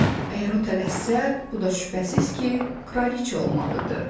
Əgər o tələssə, bu da şübhəsiz ki, kraliçə olmalıdır.